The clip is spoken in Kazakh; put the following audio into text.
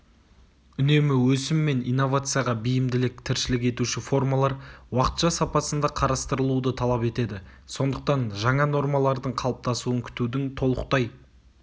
үнемі өсім мен инновацияға бейімділік тіршілік етуші формалар уақытша сапасында қарастырылуды талап етеді сондықтан жаңа нормалардың қалыптасуын күтудің толықтай